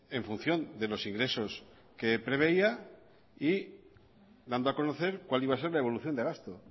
en función de los ingresos que preveía y dando a conocer cuál iba a ser la evolución de gasto